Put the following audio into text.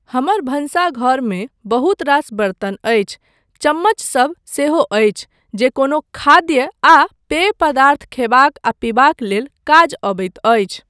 हमर भानसघरमे बहुत रास बर्तन अछि, चम्मचसब सेहो अछि जे कोनो खाद्य आ पेय पदार्थ खयबाक आ पीबाक लेल काज अबैत अछि।